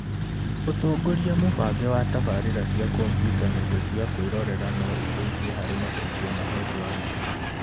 Ũtongoria mũbange wa tabarĩra cia kompiuta na indo cia kwĩrorera no iteithie harĩ macokio mahetwo arimũ.